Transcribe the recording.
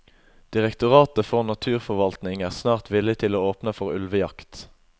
Direktoratet for naturforvaltning er snart villig til å åpne for ulvejakt.